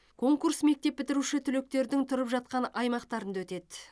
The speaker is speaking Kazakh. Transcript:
конкурс мектеп бітіруші түлектердің тұрып жатқан аймақтарында өтеді